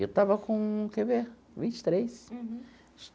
Eu estava com, quer ver, vinte e três. Uhum.